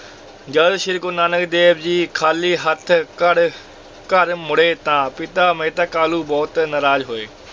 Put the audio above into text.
ਜਦ ਸ੍ਰੀ ਗੁਰੂ ਨਾਨਕ ਦੇਵ ਜੀ ਖਾਲੀ ਹੱਥ ਘਰ ਘਰ ਮੁੜੇ ਤਾਂ ਪਿਤਾ ਮਹਿਤਾ ਕਾਲੂ ਬਹੁਤ ਨਰਾਜ਼ ਹੋਏ।